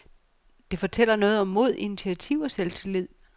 Det fortæller noget om mod, initiativ og selvtillid.